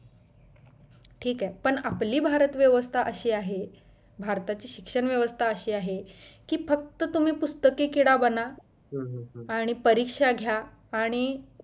ठीक आहे पण आपली भारत व्यवस्था अशी आहे भारताची शिक्षण व्यवस्था अशी आहे की फक्त तुम्ही पुस्तके किडा बना आणि परीक्षा घ्या आणि